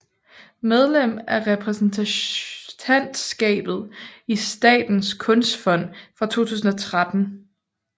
Medlem af repræsentantskabet i Statens kunstfond fra 2013